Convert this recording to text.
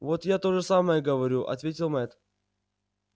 вот я то же самое говорю ответил мэтт